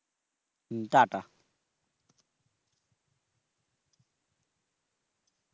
হম টা টা